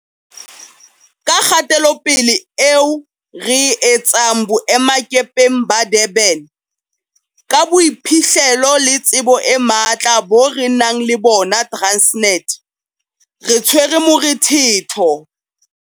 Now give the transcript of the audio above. Ka kgatelopele eo re e etsang boemakepeng ba Durban, ka boiphihlelo le tsebo e matla bo re nang le bona Transnet, re tshwere morethetho.